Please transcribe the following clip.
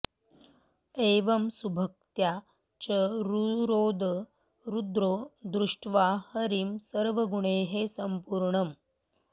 एवं सुभक्त्या च रुरोद रुद्रो दृष्ट्वा हरिं सुर्वगुणैः सम्पूर्णम्